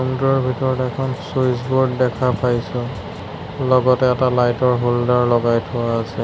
ৰুমটোৰ ভিতৰত এখন ছুইচ বোৰ্ড দেখা পাইছোঁ লগতে এটা লাইটৰ হ'ল্ডাৰ লগাই থোৱা আছে।